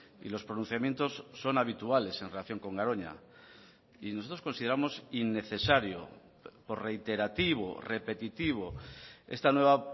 y los pronunciamientos son habituales en relación con garoña y nosotros consideramos innecesario por reiterativo repetitivo esta nueva